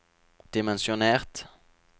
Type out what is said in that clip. dimensjonert